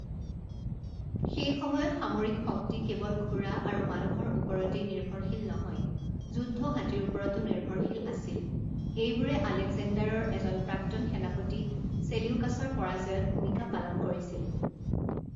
সেই সময়ত সামৰিক শক্তি কেৱল ঘোঁৰা আৰু মানুহৰ ওপৰতেই নিৰ্ভৰশীল নহয় যুদ্ধ হাতীৰ ওপৰতো নিৰ্ভৰশীল আছিল এইবোৰে আলেকজেণ্ডাৰৰ এজন প্ৰাক্তন সেনাপতি চেলিউকাছৰ পৰাজয়ত ভূমিকা পালন কৰিছিল।